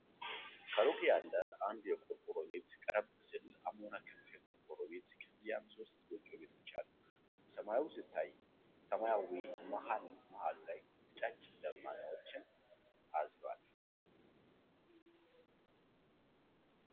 ከሩቅ ያለ አን የቆርቆሮ ቤት ቀረብ ሲል አሞራ ክንፍ የቆርቆሮ ቤት ከዚያም ሶስት ጎጆ ቤቶች አሉ ፤ ሰማዩ ሲታይ ሰማያዊ መሐል መሐሉ ላይ ነጫጭ ደማናዎችን አዝሏል።